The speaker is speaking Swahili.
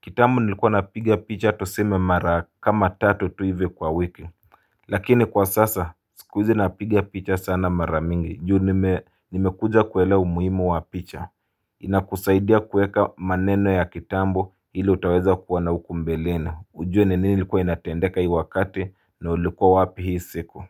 kitambo nilikuwa napiga picha tuseme mara kama tatu tu hivi kwa wiki. Lakini kwa sasa, siku hizi napiga picha sana mara mingi juu nimekuja kuelewa umuimu wa picha inakusaidia kueka maneno ya kitambo ili utaweza kuwa na ukumbeleni ujue ni nini likuwa inatendeka hii wakati na ulikuwa wapi hii siku.